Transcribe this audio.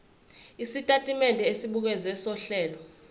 isitatimende esibukeziwe sohlelo